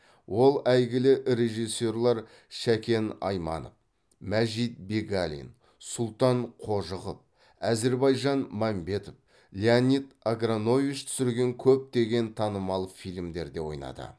ол әйгілі режиссерлар шәкен айманов мәжит бегалин сұлтан қожықов әзірбайжан мәмбетов леонид агранович түсірген көптеген танымал фильмдерде ойнады